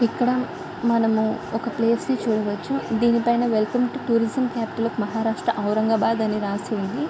ఇక్కడ మనము ఒక ప్లేస్ ని చూడవచ్చు.దీని పైన welcome to tourism capital of Maharashtra Aurangabad అని రాసి ఉంది.